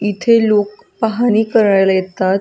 इथे लोक पाहणी करायला येतात.